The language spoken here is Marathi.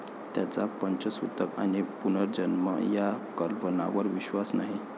त्यांचा पंचसुतक आणि पुनर्जन्म या कल्पनावर विश्वास नाही.